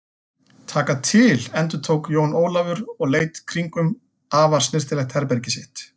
Taka til endurtók Jón Ólafur og leit í kringum afar snyrtilegt herbergið sitt.